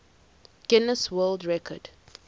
guinness world record